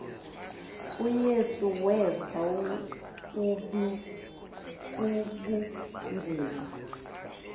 uyesu weva ubunzima